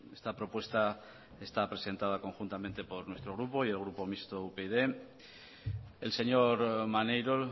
esta propuesta está presentada conjuntamente por nuestro grupo y el grupo mixto upyd el señor maneiro